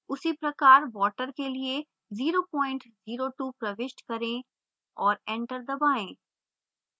उसी प्रकार water के लिए 002 प्रविष्ट करें और enter दबाएँ